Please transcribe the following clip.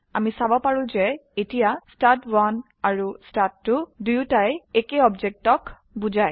আমি দেখিব পাৰো যে এতিয়া ষ্টাড1 আৰু ষ্টাড2 উভয়ই এক অবজেক্টকে বোঝায়